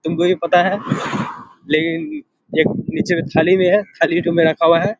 तुमको ये पता है लेकिन एक निचे थाली में है थाली ठो में रखा हुआ है।